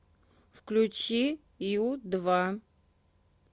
включи ю два